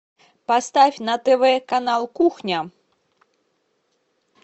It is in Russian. поставь на тв канал кухня